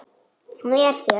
Hann er hér.